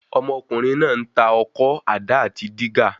Ọmọkùnrin náà ń tà ọkọ́, àdá àti dígà.